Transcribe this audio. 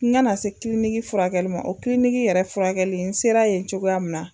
N ka na se furakɛli ma o yɛrɛ furakɛli n sera yen cogoya min na.